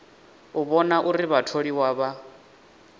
u vhona uri vhatholiwa vha